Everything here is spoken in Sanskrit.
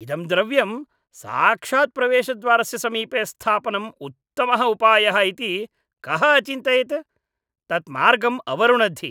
इदं द्रव्यं साक्षात् प्रवेशद्वारस्य समीपे स्थापनं उत्तमः उपायः इति कः अचिन्तयत्? तत् मार्गम् अवरुणद्धि।